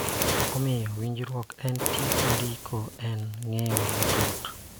Omiyo, winjruok en teko ndiko en ng�eyo matut